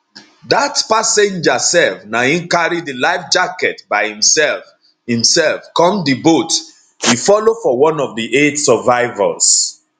dat passenger sef na im carry di life jacket by imsef imsef come di boat e follow for one of di eight survivors